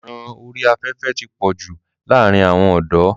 ọ̀ràn orí afẹ́fẹ́ ti pọ̀jù láàrin àwọn ọ̀dọ́.